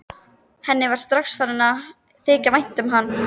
Henni var strax farið að þykja vænt um hann.